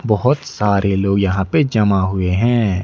बहोत सारे लोग यहां पे जमा हुए है।